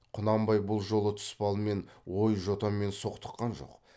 құнанбай бұл жолы тұспалмен ой жотамен соқтыққан жоқ